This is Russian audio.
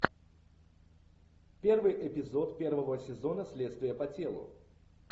первый эпизод первого сезона следствие по телу